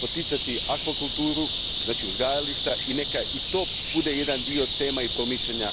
poticati akvakulturu, znači uzgajališta, i neka i to bude jedan dio tema i promišljanja